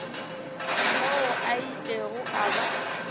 moo a ilego a ba